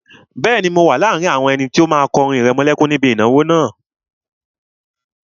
Bẹ́ẹ̀ni, mo wà láàrin àwọn ẹni tó máa kọ orin ìrẹmọlẹ́kún níbi ìnáwó náà